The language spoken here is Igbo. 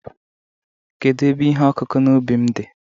kedu ebe ihe ọkụkụ n'ubi m di?